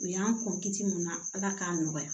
U y'an kun ci mun na ala k'a nɔgɔya